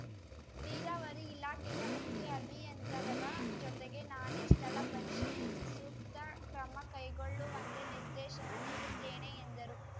ನೀರಾವರಿ ಇಲಾಖೆಯ ಮುಖ್ಯ ಅಭಿಯಂತರರ ಜೊತೆಗೆ ನಾನೇ ಸ್ಥಳ ಪರಿಶೀಲಿಸಿ ಸೂಕ್ತ ಕ್ರಮ ಕೈಗೊಳ್ಳುವಂತೆ ನಿರ್ದೇಶನ ನೀಡುತ್ತೇನೆ ಎಂದರು